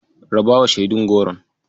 Rabawa shaidun Goron.